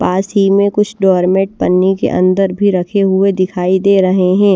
पास ही में कुछ डोरमेट पन्नी के अंदर भी रखे हुए दिखाई दे रहे हैं।